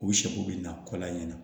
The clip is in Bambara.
U sago bɛ na kɔlɔn in na